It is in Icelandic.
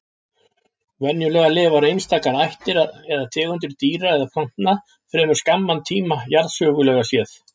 Venjulega lifa einstakar ættir eða tegundir dýra eða plantna fremur skamman tíma jarðsögulega séð.